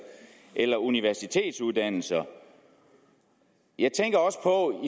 eller universitetsuddannelser jeg tænker også på